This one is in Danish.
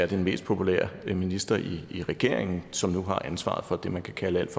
den mest populære minister i regeringen som nu har ansvaret for det man kan kalde alt